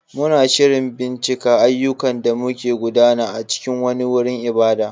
Muna shirin bincika ayyukan da ke gudana a cikin wani wurin ibada.